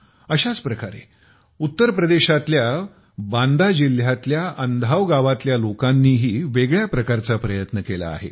अशाच प्रकारे उत्तर प्रदेशातल्या बाँदा जिल्ह्यातल्या अन्धाव गावातल्या लोकांनीही वेगळ्या प्रकारचा प्रयत्न केला आहे